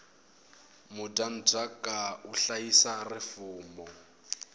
mudyandzaka u hlayisa rifumo